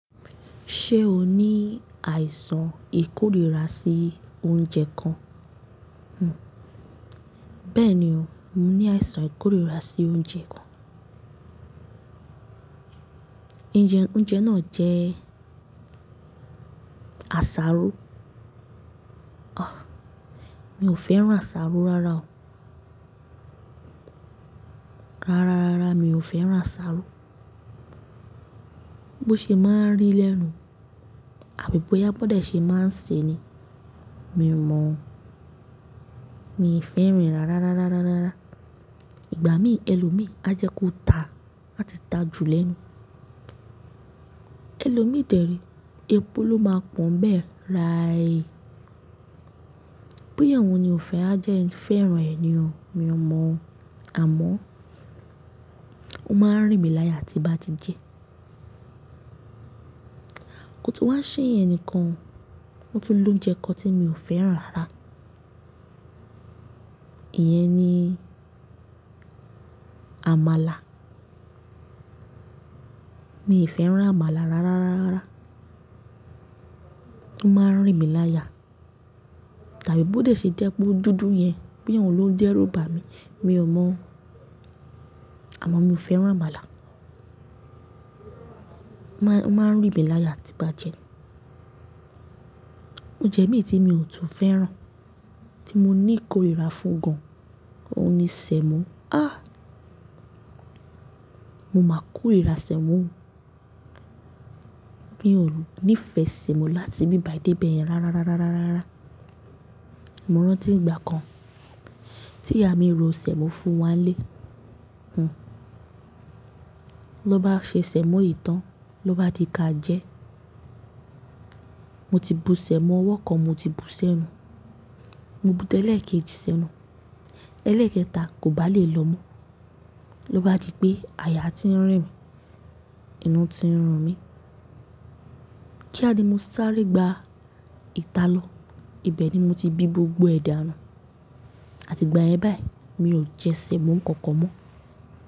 Ṣé o ní àìsàn ìkórìíra sí oúnjẹ kan? Bẹ́ẹ̀ni o, mo ní àìsàn ìkórìíra sí oúnjẹ kan. Oúnjẹ náà jẹ asáró. Mi ò fẹ́ràn asáró rárá o. Rárá, rárá mi ò fẹ́ràn asáró. Bo ṣe máa ń rì lẹ́nu, àbí bóyá bi won de ṣé máa ń ṣe ni, mi ò mọ̀ o. Mi o fẹ́ràn e rárá, rárá, rárá, rárá. Ìgbà mí ẹlòmíí a jẹ́ kó ta, áa ti ta jù lẹ́nu. Ẹlòmíì de ni, epo ló máa pọ́n bẹ́ẹ̀ ráẹ. Boya ohun ni ò fẹ́ a jẹ́ ẹ fẹ́ràn ẹ̀ ni o, mi ò mọ̀ o. Àmọ́ ó máa ń rìn mí láya tí n bá ti jẹ. Ko tun wá ṣé yen nìkan, ó tu ni ounje kán tí mi ò fẹ́ràn rárá. Iyẹn ni àmàlà. Mi ò fẹ́ràn àmàlà rárá, rárá, rárá. Ó máa ń rìn mí láya. Tàbí bó de ṣe jẹ pe o dúdú yẹn, boya ohun ló n dẹ́rù bà mi, mi ò mọ̀ o. Àmọ́ mi ò fẹ́ràn àmàlà. Ó máa ń rìn mí láya tí bá jẹ́. Oúnjẹ míì tí mi ò tún fẹ́ràn, tí mo ní ìkórìíra fún gan, òun ni sẹ̀mọ́. A! Mo máa kórìíra sẹ̀mọ́. Mi ò ní ìfẹ́ sẹ̀mọ́ láti bí bàyi dé bẹ́ẹ̀yẹn rárá, rárá, rárá, rárá. Mo rántí ìgbà kan tí ìyá mi ro sẹ̀mọ́ fún wa n lé. Ló bá ṣe sẹ̀mọ́ yìí tán, ló bá di káa jẹ́. Mo ti bu sẹ̀mọ́ ọwọ́ kan mo ti bú sẹ́nu. Mo bú tẹ́lẹ̀ kejì sẹ́nu. Ẹlẹ́ẹ̀kẹta kò bá lè lọ mú. Ló bá di pé àyà ti ń rìn mí, inú ti ń run mí. Kí á ni mo sáré gba ìta lọ, ibẹ̀ ni mo ti bí gbogbo ẹ̀ dànù. Àti ìgbà yẹn báyìí mi ò jẹ sẹ̀mọ́ kankan mọ́.